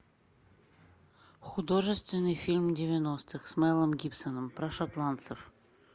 художественный фильм девяностых с мелом гибсоном про шотландцев